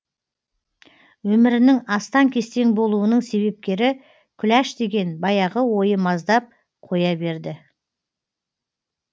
өмірінің астаң кестең болуының себепкері күләш деген баяғы ойы маздап қоя берді